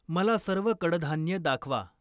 मला सर्व कडधान्ये दाखवा.